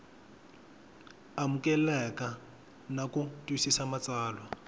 amukeleka na ku twisisa matsalwa